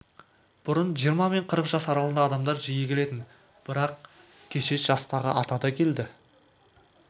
бұрын жиырма мен қырық жас аралығындағы адамдар жиі келетін бірақ кеше жастағы ата да келді